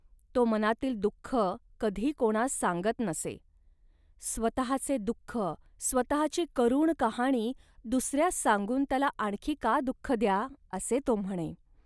तो मनातील दुःख कधी कोणास सांगत नसे. स्वतःचे दुःख, स्वतःची करुण कहाणी दुसऱ्यास सांगून त्याला आणखी का दुःख द्या, असे तो म्हणे